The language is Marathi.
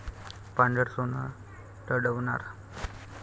पांढरं सोनं रडवणार!